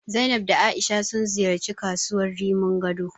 Zainab da A'isha sun ziyarci kasuwar Rimin Gado.